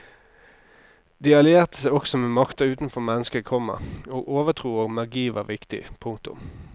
De allierte seg også med makter utenfor mennesket, komma og overtro og magi var viktig. punktum